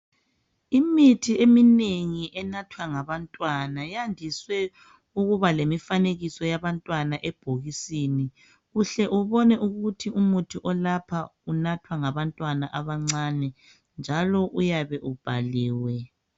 Imithi eminengi enathwa ngabantwana yandiswe ukuba lemifanekiso yabantwana ebhokisini uhle ubone ukuthi umuthi olapha unathwa ngabantwana abancane njalo uyabe ubhaliwe